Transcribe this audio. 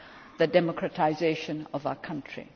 for the democratisation of our country.